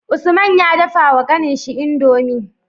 Usman ya dafa wa kanin shi indomie